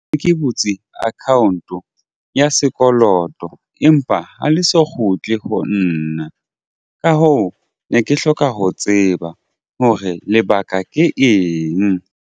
Ke butse account-o ya sekoloto empa ha le so kgutle ho nna. Ka hoo ne ke hloka ho tseba hore lebaka ke eng.